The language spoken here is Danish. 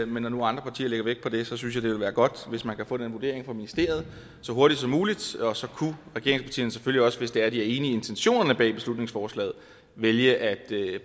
men når nu andre partier lægger vægt på det synes vil være godt hvis man kan få den vurdering fra ministeriet så hurtigt som muligt og så kunne regeringspartierne selvfølgelig også hvis de er enige i intentionerne bag beslutningsforslaget vælge at